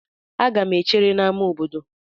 Aga m echere n'ámá obodo.